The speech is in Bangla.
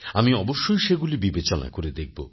আমি অবশ্যই সেগুলি বিবেচনা করে দেখব